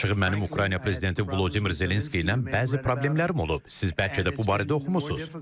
Açığı mənim Ukrayna prezidenti Vladimir Zelenski ilə bəzi problemlərim olub, siz bəlkə də bu barədə oxumusunuz.